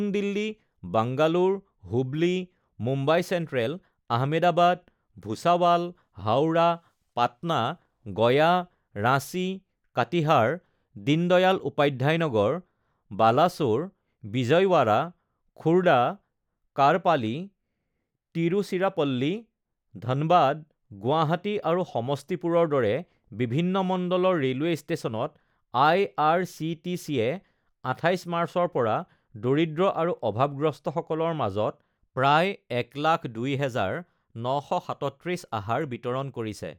নতুন দিল্লী, বাংগালোৰ, হুবলী, মুম্বাই চেণ্ট্ৰেল, আহমেদাবাদ, ভুছাৱাল, হাওৰা, পাটনা, গয়া, ৰাঁচী, কাটিহাৰ, দীন দয়াল উপাধ্যায় নগৰ, বালাছোৰ, বিজয়বাড়া, খুড়ডা, কাড়পালি, টিৰুচিৰাপল্লী, ধানবাদ, গুৱাহাটী আৰু সমষ্টিপুৰৰ দৰে বিভিন্ন মণ্ডলৰ ৰেলৱে ষ্টেচনত আইআৰচিটিচেয়ে ২৮ মাৰ্চৰ পৰা দৰিদ্ৰ আৰু অভাৱগ্ৰস্তসকলৰ মাজত প্ৰায় ১০২, ৯৩৭ আহাৰ বিতৰণ কৰিছে।